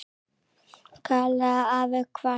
kallaði afi hvasst.